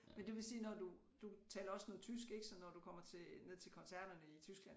Men det vil sige når du du taler også noget tysk ik så når du kommer til ned til koncerterne i Tyskland